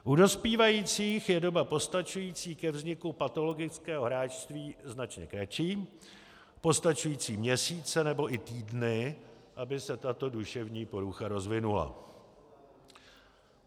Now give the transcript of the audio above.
U dospívajících je doba postačující ke vzniku patologického hráčství značně kratší, postačují měsíce nebo i týdny, aby se tato duševní porucha rozvinula.